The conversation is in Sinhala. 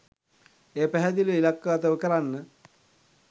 එය පැහැදිලිව ඉලක්කගතව කරන්න